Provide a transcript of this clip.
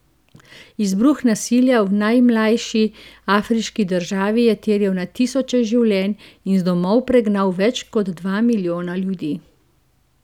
Izbruh nasilja v najmlajši afriški državi je terjal na tisoče življenj in z domov pregnal več kot dva milijona ljudi.